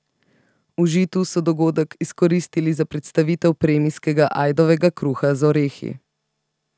V Žitu so dogodek izkoristili za predstavitev premijskega ajdovega kruha z orehi.